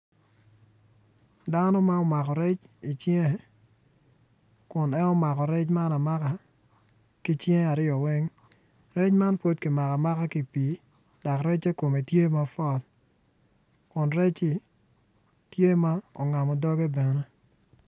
Dano ma omako rec icinge kun en omako rec man amaka ki cinge aryo weng rec man pud kimako amaka ki i pii dok recce kome tye mapwot kun recci tye ma ongamo doge bene.